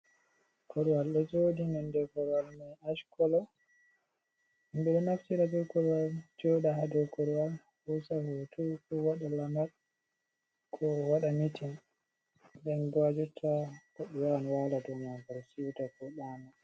Korowal ɗo joɗi , nonnde korowal mai ash kola, ɓeɗo naftira be korowal joɗa hadow korowal, hosa hoto ko waɗa lamal, ko waɗa mitin nden bo ha jotta hoɓɓe wawan waala dow maagal, siwta ko ɗaano.